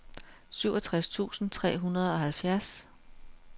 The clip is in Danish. syvogtres tusind tre hundrede og halvfjerds